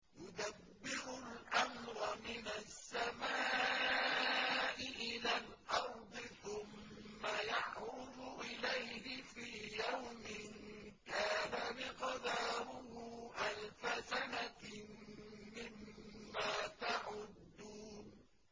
يُدَبِّرُ الْأَمْرَ مِنَ السَّمَاءِ إِلَى الْأَرْضِ ثُمَّ يَعْرُجُ إِلَيْهِ فِي يَوْمٍ كَانَ مِقْدَارُهُ أَلْفَ سَنَةٍ مِّمَّا تَعُدُّونَ